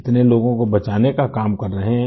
इतने लोगों को बचाने का काम कर रहे हैं